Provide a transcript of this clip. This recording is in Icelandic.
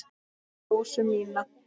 Rósu mína.